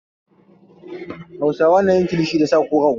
Hausawa na yin kilishi da sa ko rago.